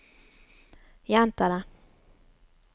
gjenta det